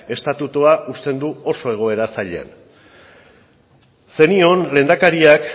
estatutua uzten du oso egoera zailean zenion lehendakariak